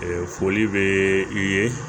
foli bɛ i ye